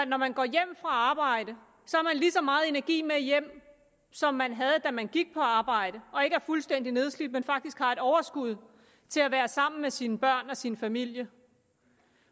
når man går hjem fra arbejde har lige så meget energi med hjem som man havde da man gik på arbejde og ikke er fuldstændig nedslidt men faktisk har et overskud til at være sammen med sine børn og sin familie